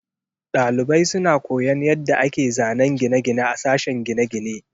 Dalibai suna koyon yadda ake zanen gine-gine a sashen gine-gine.